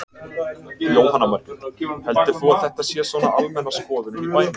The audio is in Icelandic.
Jóhanna Margrét: Heldur þú að þetta sé svona almenna skoðunin í bænum?